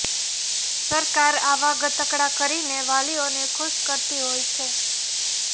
સરકાર આવા ગતકડાં કરીને વાલીઓને ખુશ કરતી હોય છે